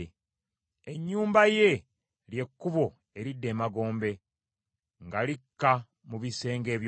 Ennyumba ye, lye kkubo eridda emagombe, nga likka mu bisenge eby’okufa.